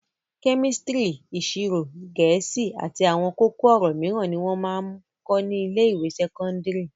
Kẹ́mísítírì, ìṣirò, Gẹ̀ẹ́sì àti àwọn kókó-ọ̀rọ̀ mìíràn ni wọ́n ń máa ń kọ́ ní ilé-ìwé sẹ́kọ́ndárì.